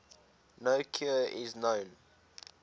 no cure is known